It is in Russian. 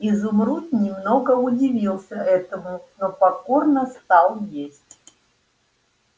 изумруд немного удивился этому но покорно стал есть